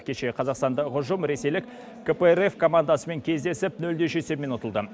кеше қазақстанда ұжым ресейлік кпрф командасымен кездесіп нөл де үш есебімен ұтылды